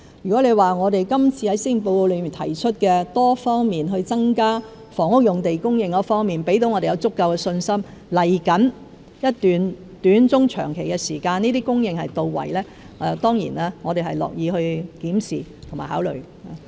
如果今次在施政報告中提出多方面增加房屋用地供應的措施能給我們足夠的信心，在未來一段短、中、長期的時間，這些供應到位，我們當然樂意檢視和考慮。